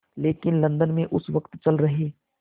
लेकिन लंदन में उस वक़्त चल रहे